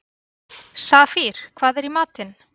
Safír, hvað er í matinn?